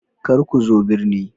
Kar ku zo birni